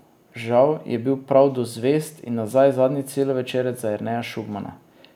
Žal je bil prav Do zvezd in nazaj zadnji celovečerec za Jerneja Šugmana.